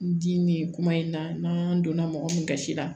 N dimi kuma in na n'an donna mɔgɔ min kasira la